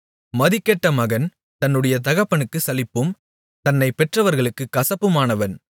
மதிகெட்ட மகன் தன்னுடைய தகப்பனுக்குச் சலிப்பும் தன்னைப் பெற்றவர்களுக்குக் கசப்புமானவன்